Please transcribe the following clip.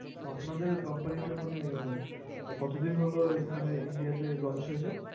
তো আপনাদের Company টা মানে কত দিন হলো এখানে ইন্ডিয়াতে Lonch হয়েছে